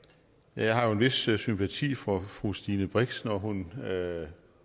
jeg har jo en vis vis sympati for fru stine brix når hun